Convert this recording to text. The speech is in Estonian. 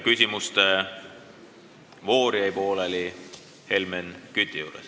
Küsimuste voor jäi pooleli Helmen Küti küsimuse juures.